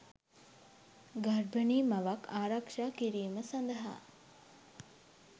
ගර්භනී මවක් ආරක්ෂා කිරීම සඳහා